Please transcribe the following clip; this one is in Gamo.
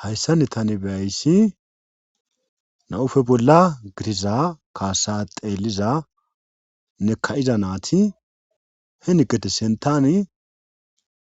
hayssani tani be7ayssi na7ufe bolla giriza kaasa xeelizane ka7iza na7iti heni gede sinttani